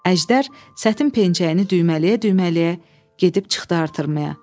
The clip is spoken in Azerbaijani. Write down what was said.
Əjdər sətin pencəyini düymələyə-düymələyə gedib çıxdı artırmaya.